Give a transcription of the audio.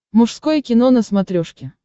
мужское кино на смотрешке